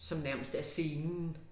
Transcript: Som nærmest er scenen